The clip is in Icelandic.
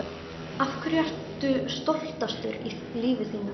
Af hverju ertu stoltastur í lífi þínu?